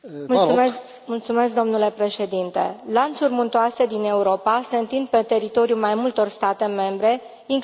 Domnule președinte, lanțuri muntoase din Europa se întind pe teritoriul mai multor state membre, inclusiv țări terțe.